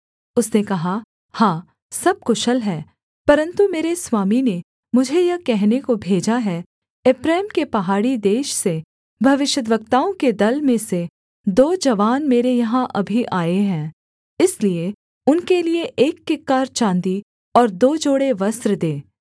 उसने कहा हाँ सब कुशल है परन्तु मेरे स्वामी ने मुझे यह कहने को भेजा है एप्रैम के पहाड़ी देश से भविष्यद्वक्ताओं के दल में से दो जवान मेरे यहाँ अभी आए हैं इसलिए उनके लिये एक किक्कार चाँदी और दो जोड़े वस्त्र दे